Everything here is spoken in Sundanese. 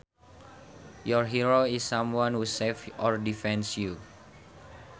Your hero is someone who saves or defends you